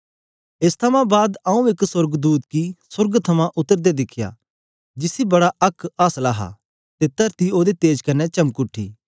एस थमां बाद आऊँ एक सोर्गदूत गी सोर्ग थमां उतरदे दिखया जिसी बड़ा आक्क आसल हा ते तरती ओदे तेज कन्ने चमक उठी